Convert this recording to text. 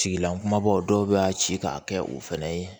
Tigila kumabaw dɔw bɛ a ci k'a kɛ u fɛnɛ ye